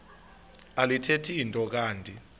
alithethi nto kanti